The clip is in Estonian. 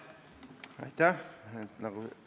Aitäh!